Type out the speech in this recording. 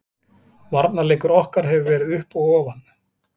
Varnarleikur okkar hefur verið upp og ofan.